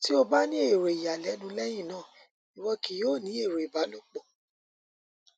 ti o ba ni ero iyalẹnu lẹhinna iwọ kii yoo ni ero ìbálòpọ